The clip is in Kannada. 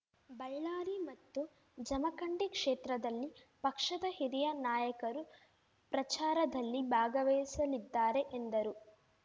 ಬಳ್ಳಾರಿ ಮತ್ತು ಜಮಖಂಡಿ ಕ್ಷೇತ್ರದಲ್ಲಿ ಪಕ್ಷದ ಹಿರಿಯ ನಾಯಕರು ಪ್ರಚಾರದಲ್ಲಿ ಭಾಗವಹಿಸಲಿದ್ದಾರೆ ಎಂದರು